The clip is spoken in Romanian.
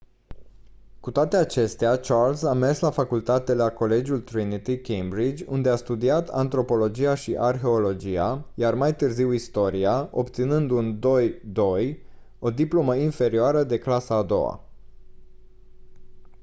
cu toate acestea charles a mers la facultate la colegiul trinity cambridge unde a studiat antropologia și arheologia iar mai târziu istoria obținând un 2:2 o diplomă inferioară de clasa a doua